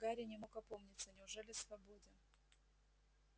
гарри не мог опомниться неужели свободен